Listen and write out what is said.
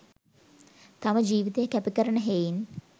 තම ජිවිතය කැප කරන හෙයින්